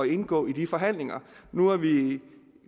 indgå i de forhandlinger nu er vi